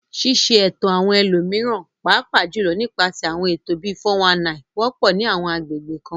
Ṣíṣe ẹ̀tàn àwọn ẹlòmíràn, pàápàá jùlọ nípasẹ̀ àwọn ètò bíi "419," wọ́pọ̀ ní àwọn agbègbè kan.